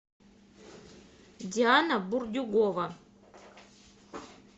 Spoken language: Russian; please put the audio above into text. диана бурдюгова